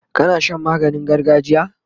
kana Shan maganin gargajiya?